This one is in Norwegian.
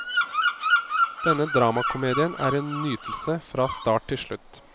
Denne dramakomedien er en nytelse fra start til slutt.